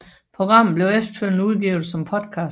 Programmet blev efterfølgende udgivet som podcast